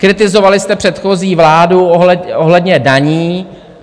Kritizovali jste předchozí vládu ohledně daní.